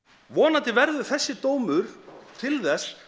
vonandi verður þessi dómur til þess